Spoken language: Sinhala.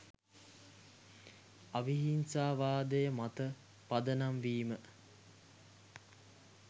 අවිහිංසාවාදය මත පදනම් වීම